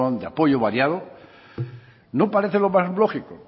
de apoyo variados no parece lo más lógico